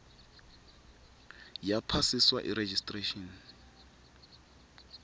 yaphasiswa yi registration